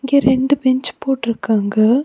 இங்க ரெண்டு பெஞ்ச் போட்டிருக்காங்க.